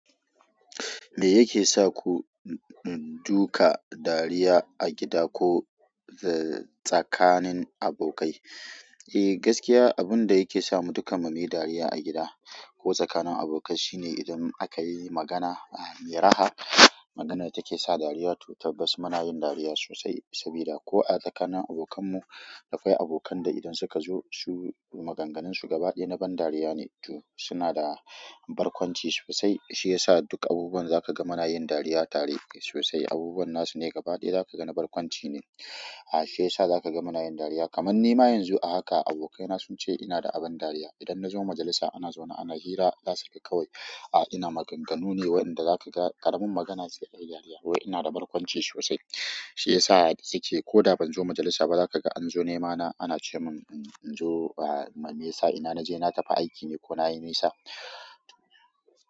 Me yake sa ku duka dariya a gida ko tsakanin abokai? Eh, gaskiya abun da yake samu dukkan mu muyi dariya a gida, ko tsakanin abokai shine idan akayi magana me raha, maganan da take sa dariya, to tabbas muna yin dariya sosai sabida ko a tsakanin abokan mu, akwai abokan da idan suka zo su magan ganinsu gaba ɗaya na ban dariya ne. To suna da barkwanci sosai. Shiyasa duk abubuwan da zaka ga muna yin dariya tare sosai abubuwan na su ne gaba ɗaya da ka ga na barkwanci ne. Ah shi ya sa za ka ga muna yin dariya. Kaman ni ma yanzu a haka abokaina sun ce ina da abin dariya. Idan na zo majalisa ana zaune ana hira, za su kai kawai, "A ina maganganu ne wa'inda za ka ga ƙaramin magana se ayi dariya." Wai ina da barkwanci sosai. Shi ya sa su ke ko da ban zo majalisa ba za ka ga an zo nema na an ce min in zo, me ya sa? Ina na je na tafi aiki ne ko na yi nisa?